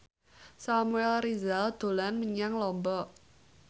Samuel Rizal dolan menyang Lombok